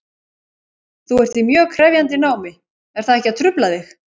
Þú ert í mjög krefjandi námi, er það ekkert að trufla þig?